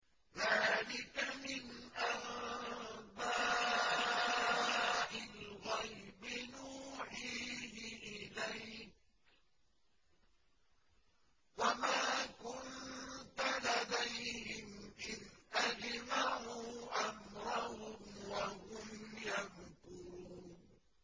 ذَٰلِكَ مِنْ أَنبَاءِ الْغَيْبِ نُوحِيهِ إِلَيْكَ ۖ وَمَا كُنتَ لَدَيْهِمْ إِذْ أَجْمَعُوا أَمْرَهُمْ وَهُمْ يَمْكُرُونَ